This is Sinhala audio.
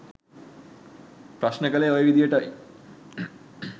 ප්‍රශ්න කලේ ඔය විදියටයි.